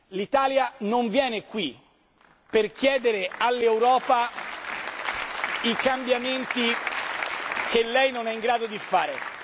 L'Italia non viene qui per chiedere all'Europa i cambiamenti che non è in grado di fare.